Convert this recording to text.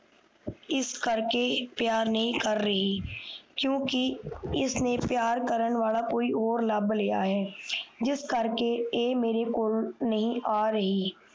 ਇਸਕਰਕੇ ਪਿਆਰ ਨਹੀਂ ਕਰ ਰਹੀ ਕਿਉਕਿ ਇਸ ਨੇ ਪਿਆਰ ਕਾਰਨ ਵਾਲਾ ਕੋਈ ਹੋਰ ਲਾਬ ਲਿਆ ਹੈ ਜਿਸ ਕਰਕੇ ਏ ਮੇਰੇ ਕੋਲ ਨਹੀਂ ਆ ਰਹੀ